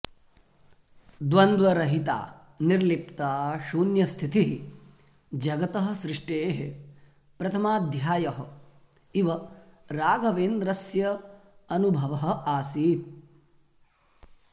द्वन्द्वरहिता निर्लिप्ता शून्यस्थितिः जगतः सृष्टेः प्रथमाध्ययः इव राघवेन्द्रस्य अनुभवः आसीत्